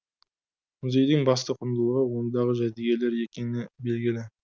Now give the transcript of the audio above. музейдің басты құндылығы ондағы жәдігерлер екені белгілі